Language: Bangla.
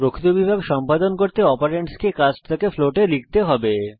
প্রকৃত বিভাগ সম্পাদন করতে একটি অপারেন্ডসকে কাস্ট থেকে ফ্লোটে লিখতে হবে